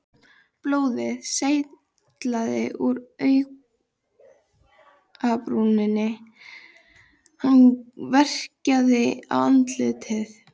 Blóðið seytlaði úr augabrúninni, hann verkjaði í andlitið.